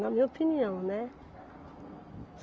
Na minha opinião, né?